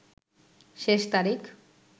শেষ তারিখ